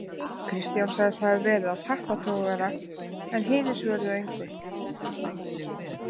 Kristján sagðist hafa verið á tappatogara en hinir svöruðu engu.